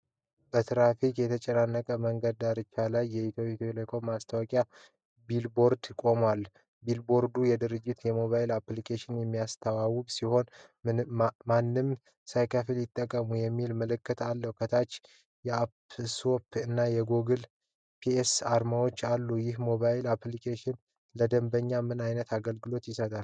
በትራፊክ የተጨናነቀ መንገድ ዳርቻ ላይ የኢትዮ ቴሌኮም የማስታወቂያ ቢልቦርድ ቆሟል። ቢልቦርዱ የድርጅቱን ሞባይል አፕሊኬሽን የሚያስተዋውቅ ሲሆን "ምንም ሳይከፍሉ ይጠቀሙ" የሚል መልዕክት አለው። ከታች የአፕ ስቶር እና የጉግል ፕሌይ አርማዎች አሉ። ይህ ሞባይል አፕሊኬሽን ለደንበኞች ምን ዓይነት አገልግሎቶችን ይሰጣል?